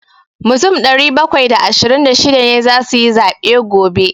Mutum ɗari bakwai da ashirin da shida ne za su yi zaɓe gobe.